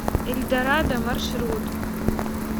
эльдорадо маршрут